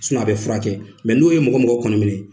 a bɛ furakɛ kɛ mɛ n'o ye mɔgɔ mɔgɔ kɔni minɛ,